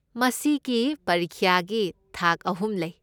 ꯃꯁꯤꯒꯤ ꯄꯔꯤꯈ꯭ꯌꯥꯒꯤ ꯊꯥꯛ ꯑꯍꯨꯝ ꯂꯩ꯫